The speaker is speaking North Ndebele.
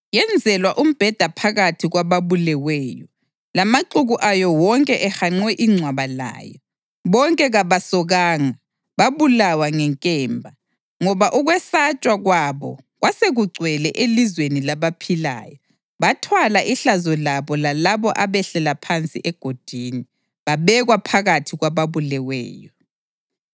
Yenzelwa umbheda phakathi kwababuleweyo, lamaxuku ayo wonke ehanqe ingcwaba layo. Bonke kabasokanga, babulawa ngenkemba. Ngoba ukwesatshwa kwabo kwasekugcwele elizweni labaphilayo, bathwala ihlazo labo lalabo abehlela phansi egodini; babekwa phakathi kwababuleweyo.